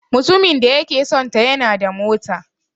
Mutumin da yake sonta yana da mota.